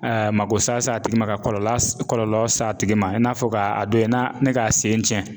A makosa s'a tigi ma, ka kɔlɔla kɔlɔlɔ s'a tigi ma, i n'a fɔ k'a a don in na ni k'a sen cɛn .